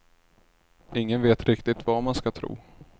Ingen vet riktigt vad man ska tro.